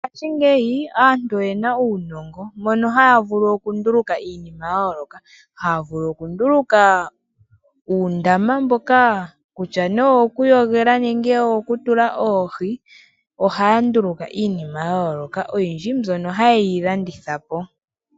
Mongaashingeyi aantu oye na uunongo mono haya vulu okunduluka iinima ya yooloka haya vulu okunduluka uundama mboka kutya nee owo ku yogela nenge owo ku tula oohi oha ya nduluka iinima ya yooloka oyindji mbyono haye yi landithapo.